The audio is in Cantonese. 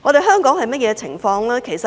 香港的情況如何？